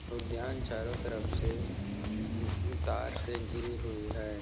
उद्यान चारो तरफ से और तार से घेरी हुई है।